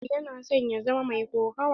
Abu yana son ya zama mai kokawa.